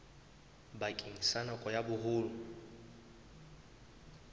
bakeng sa nako ya boholo